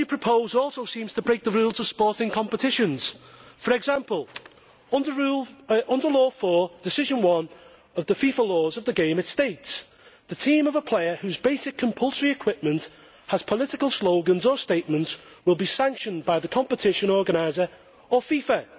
What you propose also seems to break the rules of sporting competitions. For example, under Law 4, Decision 1 of the FIFA laws of the game, it states The team of a player whose basic compulsory equipment has political slogans or statements will be sanctioned by the competition organiser or FIFA.'